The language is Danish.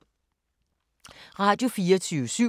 Radio24syv